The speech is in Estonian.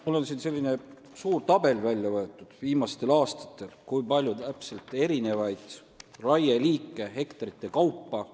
Mul on siin selline suur tabel väljavõetud andmetega, et kui palju täpselt on viimastel aastatel raiet tehtud: liikide ja hektarite kaupa.